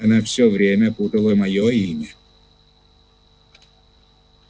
она всё время путала моё имя